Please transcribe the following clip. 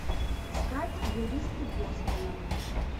искать юристы бостона